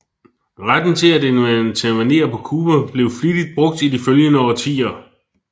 Retten til at intervenere på Cuba blev flittigt brugt i de følgende årtier